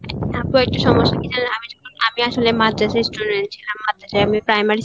আপু একটা সমস্সা কি জানেন আমি আসলে মাদ্রাসায় চলে এই ছিলাম, মাদ্রাসায় আমি primary